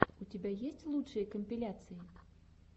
у тебя есть лучшие компиляции